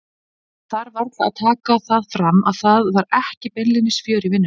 Ég þarf varla að taka það fram að það var ekki beinlínis fjör í vinnunni.